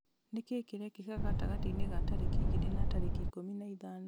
nĩ kĩĩ kĩrekĩkire gatagatĩ-inĩ ga tarĩki igĩrĩ na tarĩki ikũmi na ithano